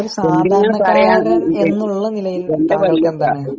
സാധാരണ എന്നുള്ള നിലയിൽ താങ്കൾക്ക് എന്താണ്